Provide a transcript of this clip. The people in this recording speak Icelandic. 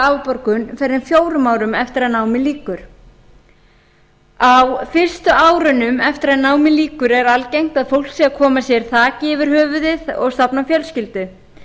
afborgun fyrr en fjórum árum eftir að námi lýkur á fyrstu árunum eftir að námi lýkur er algengt að fólk sé að koma sér þaki yfir höfuðið og stofna fjölskyldu